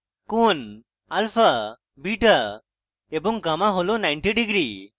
কোণ alpha beta এবং gamma হল 90 degrees